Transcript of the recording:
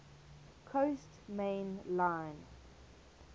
coast main line